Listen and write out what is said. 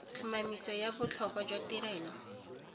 tlhomamiso ya botlhokwa jwa tirelo